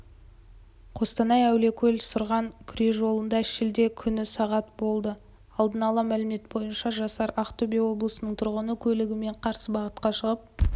қостанай әулиекөл сұрған күре жолында шілде күні сағат болды алдын ала мәлімет бойынша жасар ақтөбе облысының тұрғыны көлігімен қарсы бағытқа шығып